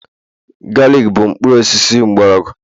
galik bụ mkpụrụ osisi mgbọrọgwụ